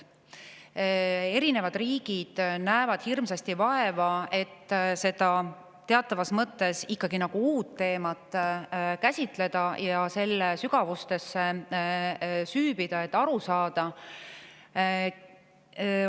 Erinevad riigid näevad hirmsasti vaeva, et seda teatavas mõttes ikkagi nagu uut teemat käsitleda ja selle sügavustesse süüvida, et sellest aru saada.